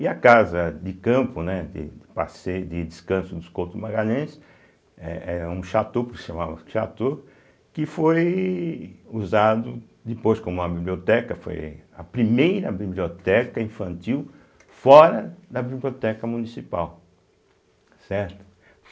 E a casa de campo, né, de passeio de descanso dos Couto Magalhães, eh eh um chateau, se chamava chateau, que foi usado depois como uma biblioteca, foi a primeira biblioteca infantil fora da Biblioteca Municipal, certo.